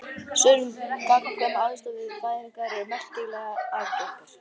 Sögur um gagnkvæma aðstoð við fæðingar eru merkilega algengar.